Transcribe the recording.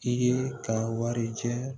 I ye ka wari cɛ